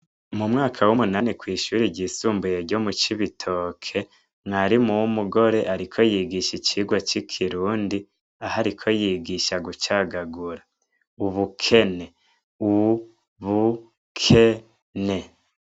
Mu mwaka w' umunani kw' ishure ryisumbuye ryo mu Cibitoke, mwarimu w' umugore ariko yigisha icirwa c' ikirundi, aho ariko yigisha gucagagura. Ubukene: u- bu- ke- ne.